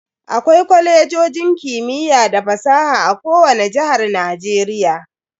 Akwai Kwalejojin kimiyya da fasaha a kowani jihar Najeriya.